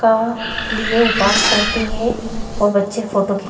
का लिए उपास करती है और बच्चे फोटो क्लिक --